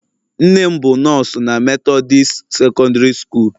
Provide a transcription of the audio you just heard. Nne m bụ nọọsụ na methodist secondiri sukool.